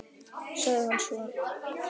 sagði hann svo.